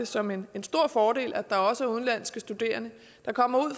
som en stor fordel at der også er udenlandske studerende der kommer ud